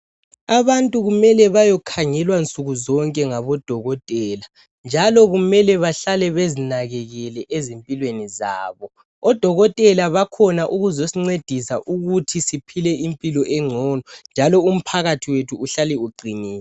abantu kumele bayokhangelwa zonke ngabodokotela njalo kumele bahlale bezinakekele ezimpilweni zabo odokotela bakhona ukuzosincedisa ukuthi siphie impilo encono njalo umphakathi wethu uhlale uqinile